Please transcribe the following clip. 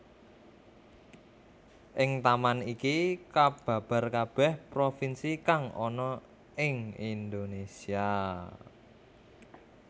Ing taman iki kababar kabeh propinsi kang ana ing Indonesia